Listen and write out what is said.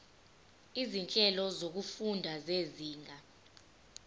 izinhlelo zokufunda zezinga